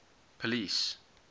police